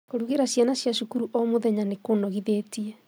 Kũrugĩra ciana cia cukuru o mũthenya nĩ kũnogithĩtie